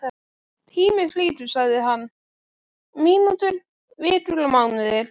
Tíminn flýgur sagði hann, mínútur, vikur og mánuðir.